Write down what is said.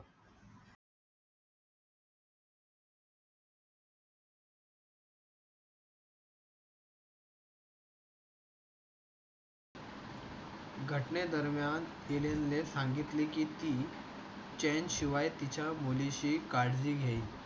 घटनेदरम्यान इलिनने सांगितले की ति चानशिवाय तिच्या मुलीची काळजी घेईल.